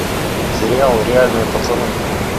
сериал реальные пацаны